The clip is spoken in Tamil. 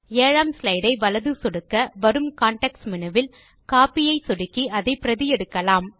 7 ஆம் ஸ்லைடு ஐ வலது சொடுக்க வரும் கான்டெக்ஸ்ட் மேனு வில் கோப்பி ஐ சொடுக்கி அதை பிரதி எடுக்கலாம்